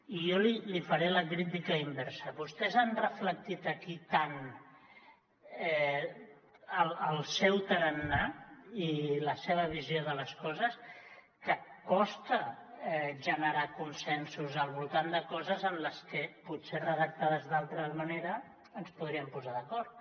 i jo li faré la crítica inversa vostès han reflectit aquí tant el seu tarannà i la seva visió de les coses que costa generar consensos al voltant de coses en les que potser redactades d’altra manera ens podríem posar d’acord